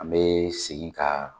An bɛ segin ka